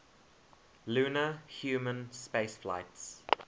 lunar human spaceflights